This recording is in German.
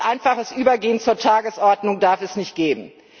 Ein einfaches Übergehen zur Tagesordnung darf es nicht geben.